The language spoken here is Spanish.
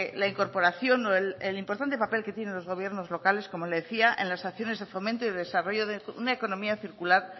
la incorporación o el importante papel que tienen los gobiernos locales como le decía en las acciones de fomento y de desarrollo de una economía circular